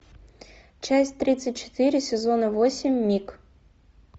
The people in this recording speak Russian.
часть тридцать четыре сезона восемь миг